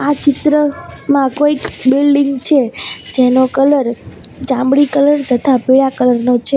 આ ચિત્રમાં કોઈક બિલ્ડીંગ છે જેનો કલર ચામડી કલર તથા પીળા કલર નો છે.